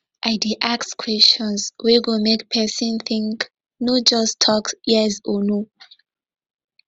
i dey ask questions wey go make pesin think no just tok yes or no